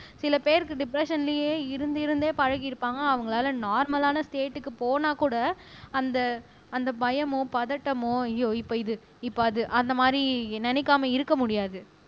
சில பேருக்கு டிப்ரஸ்ஸன்லயே இருந்து இருந்தே பழகியிருப்பாங்க அவங்களால நார்மலான ஸ்டேட்க்கு போனாக்கூட அந்த அந்த பயமோ பதட்டமோ ஐயோ இப்ப இது இப்ப அது அந்த மாதிரி நினைக்காம இருக்க முடியாது